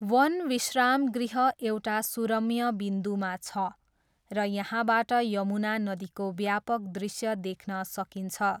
वन विश्राम गृह एउटा सुरम्य बिन्दुमा छ र यहाँबाट यमुना नदीको व्यापक दृश्य देख्न सकिन्छ।